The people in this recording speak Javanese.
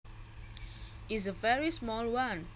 is a very small one